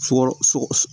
Fukɔnɔn sɔgɔ